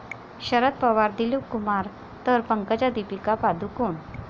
शरद पवार 'दिलीपकुमार' तर पंकजा 'दीपिका पदुकोण'